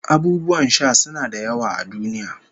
Abubuwan sha suna da yawa a duniya